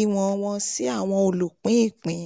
ìwọn wọn sí àwọn olùpín-ìpín.